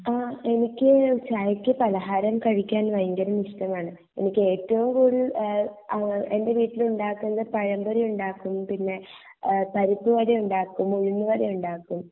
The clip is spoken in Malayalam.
എനിക്ക് ചായക്ക് പലഹാരം കഴിക്കാൻ വയങ്കര ഇഷ്ടമാണ് എനിക്ക് ഏറ്റോം കൂടൽ എഹ് അഹ് എന്റെ വീട്ടിൽ ഉണ്ടാക്കുന്നത് പഴമ്പൊരി ഉണ്ടാക്കുന്ന പിന്നെ പരിപ്പുവട ഉണ്ടാക്കും ഉഴുന്നുവട ഉണ്ടാക്കും